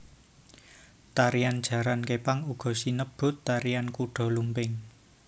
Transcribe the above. Tarian jaran kepang uga sinebut tarian kuda lumping